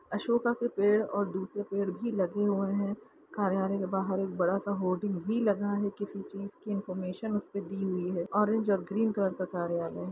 अशोका के पेड़ और दूसरे पेड़ भी लगे है कार्यालय के बाहर बड़ा-सा होर्डिंग भी लगा हुआ है किसी चीज की इनफार्मेशन दी हुई है ऑरेंज और ग्रीन कलर का कार्यालय है।